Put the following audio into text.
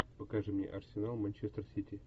покажи мне арсенал манчестер сити